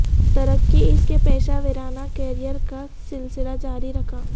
ترقی اس کے پیشہ ورانہ کیریئر کا سلسلہ جاری رکھا